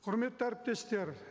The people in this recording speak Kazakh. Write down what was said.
құрметті әріптестер